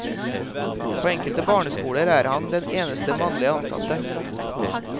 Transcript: På enkelte barneskoler er han den eneste mannlige ansatte.